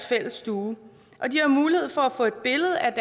fælles stue og de har mulighed for at få et billede af